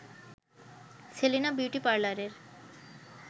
Selina beauty পার্লারের